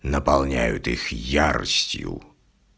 наполняют их яростью